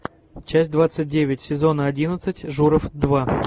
часть двадцать девять сезона одиннадцать журов два